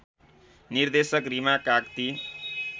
निर्देशक रिमा काग्ती